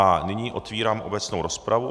A nyní otvírám obecnou rozpravu.